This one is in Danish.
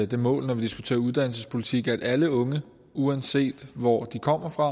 det mål når vi diskuterer uddannelsespolitik at alle unge uanset hvor de kommer fra